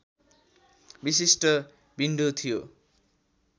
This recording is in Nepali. विशिष्ट विन्डो थियो